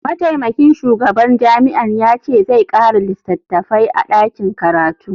Mataimakin shugaban jami'ar ya ce zai kara litattafai a dakin karatu.